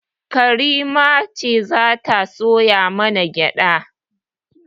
Karima ce za ta soya mana gyaɗa